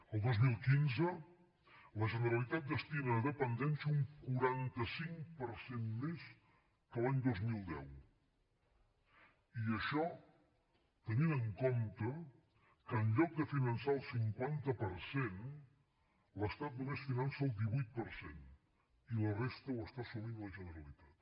el dos mil quinze la generalitat destina a dependència un quaranta cinc per cent més que l’any dos mil deu i això tenint en compte que en lloc de finançar el cinquanta per cent l’estat només finança el divuit per cent i la resta ho està assumint la generalitat